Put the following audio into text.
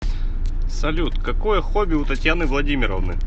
салют какое хобби у татьяны владимировны